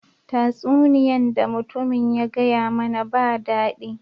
Tasuniyan da mutumin ya gaya mana ba dadi.